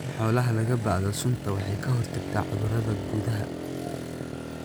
In xoolaha laga baadho sunta waxay ka hortagtaa cudurrada gudaha.